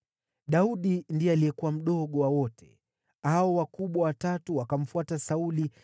Daudi ndiye alikuwa mdogo wa wote. Hao wakubwa watatu wakamfuata Sauli,